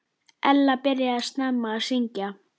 Ella byrjaði snemma að syngja.